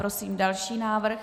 Prosím další návrh.